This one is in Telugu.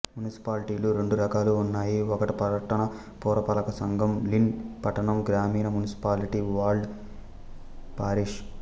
మునిసిపాలిటీలు రెండు రకాలు ఉన్నాయి ఒక పట్టణ పురపాలక సంఘం లిన్ పట్టణం గ్రామీణ మునిసిపాలిటీ వాల్డ్ పారిష్